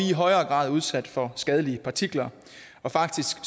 i højere grad udsat for skadelige partikler faktisk